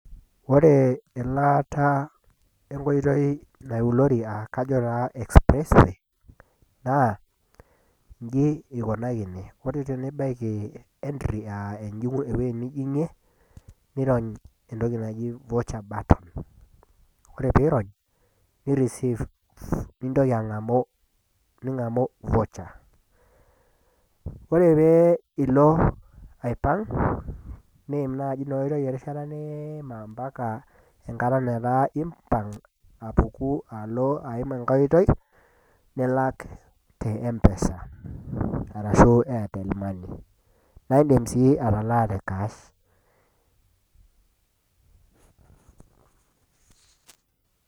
Ore elaata enkoitoi naulori ajo taa expressway, naa inji eikunakini, ore tenibaiki entry aa ewueji nijing'ie, nirony entoki naji vaucher button, ore pee irony, nireceive, nintoki ang'amu vaucher, ore pee ilo aipang' niim naaji ina oitoi erishata niima ompaka etaa piimpang', apuku alo aim enkai oitoi, nilak te empesa, arashu airtel money. Naa indim sii atalaa te kaash.